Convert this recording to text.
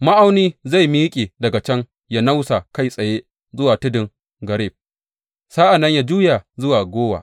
Ma’auni zai miƙe daga can ya nausa kai tsaye zuwa tudun Gareb sa’an nan ya juya zuwa Gowa.